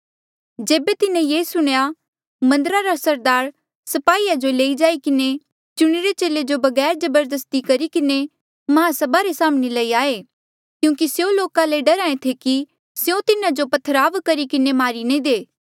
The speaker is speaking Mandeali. जेबे तिन्हें ये सुणेया मन्दरा रा सरदार स्पाहीया जो लेई जाई किन्हें चुणिरे चेले जो बगैर जबरदस्ती करी किन्हें महासभा रे साम्हणें लई आये क्यूंकि स्यों लोका ले डरहा ऐें थे कि स्यों तिन्हा पर जो पत्थरवाह करी किन्हें मारी नी दे